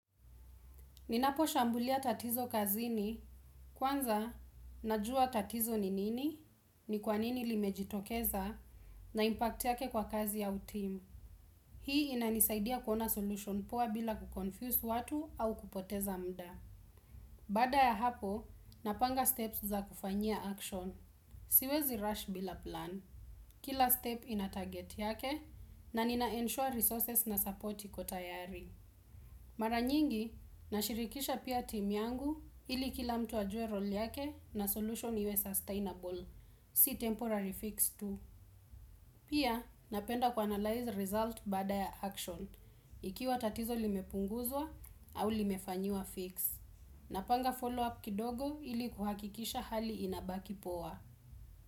Ninaposhambulia tatizo kazini, kwanza najua tatizo ni nini, ni kwanini limejitokeza, na impact yake kwa kazi au timu. Hii inanisaidia kuona solution poa bila kuconfuse watu au kupoteza muda. Baada ya hapo, napanga steps za kufanyia action. Siwezi rush bila plan. Kila step ina target yake, na nina ensure resources na support iko tayari. Mara nyingi, nashirikisha pia team yangu ili kila mtu ajue role yake na solution iwe sustainable, si temporary fiix tu. Pia, napenda kuanalyze result baada ya action, ikiwa tatizo limepunguzwa au limefanyiwa fix. Napanga follow up kidogo ili kuhakikisha hali inabaki poa.